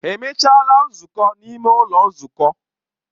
Ha emechaala nzukọ n'ime ụlọ nzukọ?